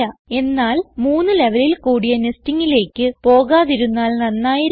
എന്നാൽ 3 ലെവലിൽ കൂടിയ nestingലേക്ക് പോകാതിരുന്നാൽ നന്നായിരിക്കും